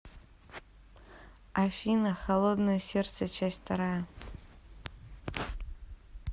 афина холодное сердце часть вторая